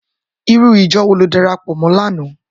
Irú ijò wó ló dàrápò mò làná?